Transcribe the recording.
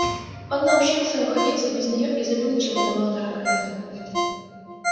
он научился обходиться без неё и забыл чем она была дорога ему